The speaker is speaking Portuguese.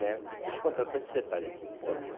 né Deixa eu contar só esse detalhe aqui, por favor.